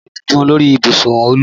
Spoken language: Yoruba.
Mo rí ìdun lórí ibùsùn Olú